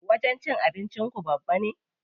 Wajen cin abinci ku babba ne?